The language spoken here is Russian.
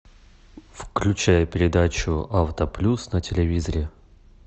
включай передачу авто плюс на телевизоре